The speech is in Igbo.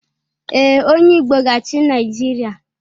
Ee, onye Igbo ga-achị Naijiria?